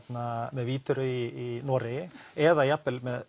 með Wideröe í Noregi eða jafnvel með